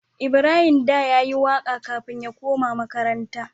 Ibrahim da yayi waƙa kafin ya koma makaranta